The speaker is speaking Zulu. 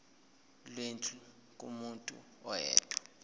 lwendlu kumuntu oyedwa